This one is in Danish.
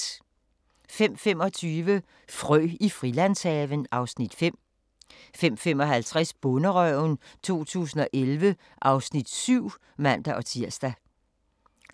05:25: Frø i Frilandshaven (Afs. 5) 05:55: Bonderøven 2011 (Afs.